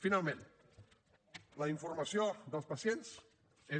finalment la informació dels pacients és